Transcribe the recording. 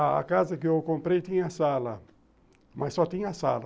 A casa que eu comprei tinha sala, mas só tinha sala.